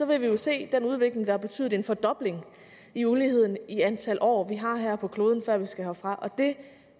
vil vi jo se den udvikling der har betydet en fordobling i uligheden i antal år vi har her på kloden før vi skal herfra og det